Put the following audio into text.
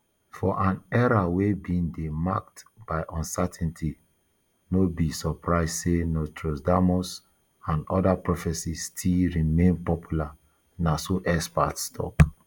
for an era wey bin dey marked by uncertainty no be surprise say nostradamus and oda prophecies still remain popular na so experts tok